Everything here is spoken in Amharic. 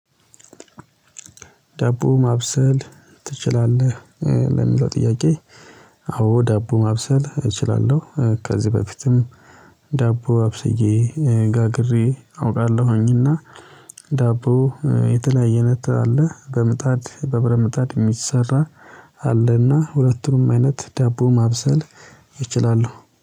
ዳቦ ማብሰል ትችላለህ ለሚለው ጥያቄ? አዎ ዳቦ ማብሰል እችላለሁ ከዚህ በፊትም ዳቦ አብሰዬ ጋግሬ አውቃለሁኝና። ዳቦ የተለያየ አይነት አለ በምጣድ በብረምጣድ የሚሰራ። አለና ሁለቱም አይነት ዳቦ ማብሰል ይችላሉ